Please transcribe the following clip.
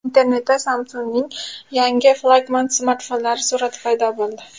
Internetda Samsung‘ning yangi flagman smartfonlari surati paydo bo‘ldi.